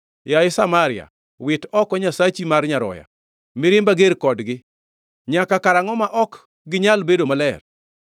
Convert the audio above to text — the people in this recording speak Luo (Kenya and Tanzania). Yaye Samaria, wit oko nyasachi mar nyaroya! Mirimba ger kodgi. Nyaka karangʼo ma ok ginyal bedo maler?